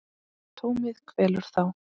Tómið kvelur þá.